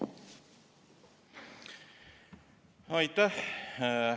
Aitäh!